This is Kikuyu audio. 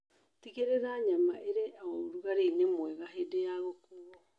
Tĩgĩrĩra nyama ĩrĩ o ũrugarĩinĩ mwega hĩndĩ ya gũkuo